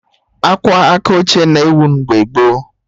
Akwa aka oche na-ewu mgbe gboo